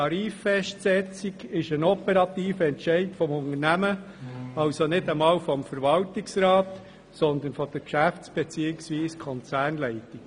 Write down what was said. Die Tariffestsetzung ist ein operativer Entscheid des Unternehmens, also nicht einmal des Verwaltungsrats, sondern der Konzernleitung.